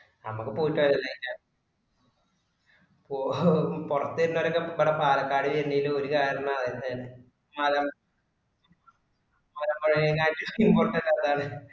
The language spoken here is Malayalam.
ഞമ്മക്ക് പോയിട്ട് വര പൊറത് വരുന്നൊരൊക്കെ ഇവിടെ പാലക്കാട് വെര്ന്നേൽ ഒര് കരണതന്നെ